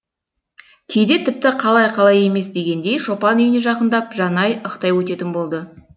кейде тіпті қалай қалай емес дегендей шопан үйіне жақындап жанай ықтай өтетін болды